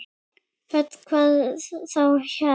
Hödd: Hvað þá helst?